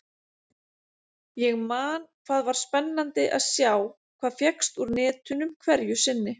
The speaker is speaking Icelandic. Ég man hvað var spennandi að sjá hvað fékkst úr netunum hverju sinni.